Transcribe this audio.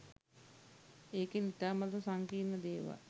ඒකෙන් ඉතාමත් සංකීර්ණ දේවල්